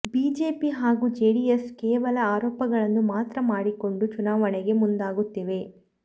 BJP ಹಾಗೂ JDS ಕೇವಲ ಆರೋಪಗಳನ್ನು ಮಾತ್ರ ಮಾಡಿಕೊಂಡು ಚುನಾವಣೆಗೆ ಮುಂದಾಗುತ್ತಿವೆ